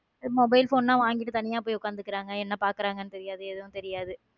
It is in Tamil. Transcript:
mobile phone லாம் வாங்கிட்டு தனியா போய் உட்கார்ந்துகிறார்கள் என்ன பார்க்கிறார்கள் என்று தெரியாது எதுவும் தெரியாது.